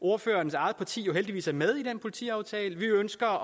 ordførerens eget parti jo heldigvis er med i den politiaftale vi ønsker